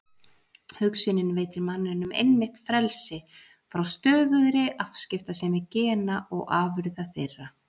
Hugsunin veitir manninum einmitt frelsi frá stöðugri afskiptasemi gena og afurða þeirra.